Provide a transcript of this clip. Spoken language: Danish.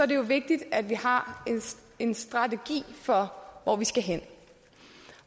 det jo vigtigt at vi har en strategi for hvor vi skal hen